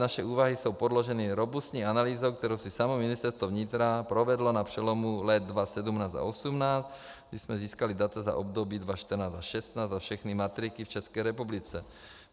Naše úvahy jsou podloženy robustní analýzou, kterou si samo Ministerstvo vnitra provedlo na přelomu let 2017 a 2018, kdy jsme získali data za období 2014 až 2016 za všechny matriky v České republice.